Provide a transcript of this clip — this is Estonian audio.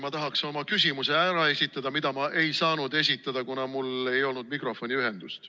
Ma tahaksin oma küsimuse ära esitada, mida ma ei saanud esitada, kuna mul ei olnud mikrofoniühendust.